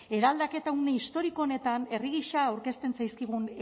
eraldaketa une historiko honetan herri gisa aurkezten zaizkigun